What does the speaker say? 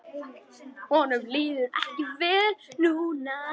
Honum líður ekki vel núna.